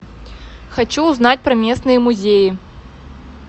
хочу узнать про местные музеи